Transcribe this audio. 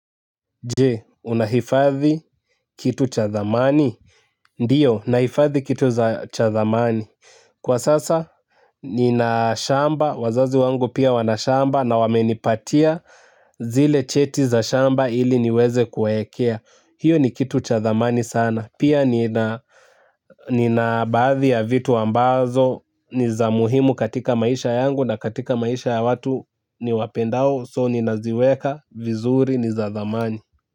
Jee, unahifadhi kitu cha thamani? Ndiyo, nahifadhi kitu za cha thamani. Kwa sasa, nina shamba, wazazi wangu pia wanashamba na wamenipatia zile cheti za shamba ili niwezekuwawekea. Hiyo ni kitu cha thamani sana. Pia nina, nina baadhi ya vitu ambazo, niza muhimu katika maisha yangu na katika maisha ya watu niwapendao, "soo" ninaziweka, vizuri, niza thamani.